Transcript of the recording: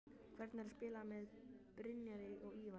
Hvernig er að spila með Brynjari og Ívari?